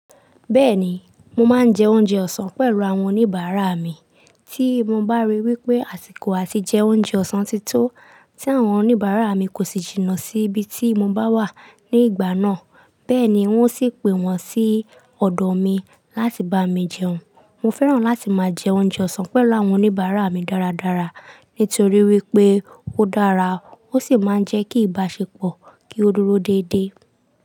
Bẹ́ẹ̀ni, mo máa ń jẹ oúnjẹ ọ̀sán pẹ̀lú àwọn oníbàárà mi. Tí mo bá ríi wí pé àsìkò àti jẹ oúnjẹ ọ̀sán ti tó, tí àwọn oníbàárà mi kò sì jìnnà sí ibi tí mo bá wà ní ìgbà náà. Bẹ́ẹ̀ni, oun sì pe wọ́n sí ọ̀dọ̀ mi láti bá mi jẹun. Mo fẹ́ràn láti máa jẹ oúnjẹ ọ̀sán pẹ̀lú àwọn oníbàárà mi dáradára, nítorí wípé ó dára, ó sì máa ń jẹ́ kí ìbáṣepọ̀ kí ó dúró dédé.